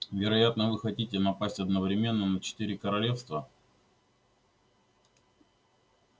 вероятно вы хотите напасть одновременно на четыре королевства